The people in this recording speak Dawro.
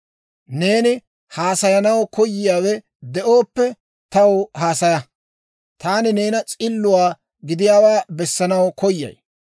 Neeni haasayanaw koyiyaawe de'ooppe, taw haasaya. Taani neeni s'illuwaa gidiyaawaa bessanaw koyay.